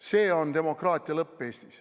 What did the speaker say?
See on demokraatia lõpp Eestis.